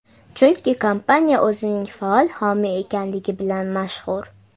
Chunki kompaniya o‘zining faol homiy ekanligi bilan mashhur.